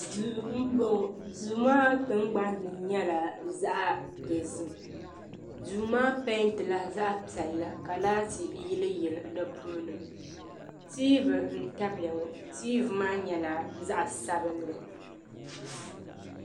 Duu n bɔŋo duu maa tingbani ni nyɛla zaɣa dozim duu maa pɛɛnti la zaɣa piɛlli ka laati yili yili di puuni tiivi n tabi ya ŋɔ tiivi maa nyɛla zaɣa sabinli.